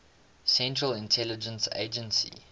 central intelligence agency